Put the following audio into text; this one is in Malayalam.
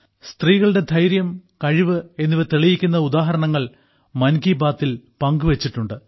സ്ത്രീകളുടെ ധൈര്യം കഴിവ് എന്നിവ തെളിയിക്കുന്ന ഉദാഹരണങ്ങൾ മൻ കി ബാത്തിൽ പങ്കുവച്ചിട്ടുണ്ട്